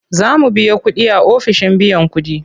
Za mu biya kuɗi a ofishin biyan kuɗi.